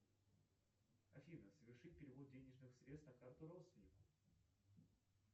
афина совершить перевод денежных средств на карту родственников